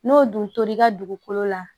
N'o dun tor'i ka dugukolo la